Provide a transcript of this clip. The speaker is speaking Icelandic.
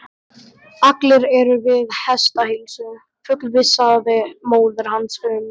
Allir eru við hestaheilsu, fullvissaði móðir hans um.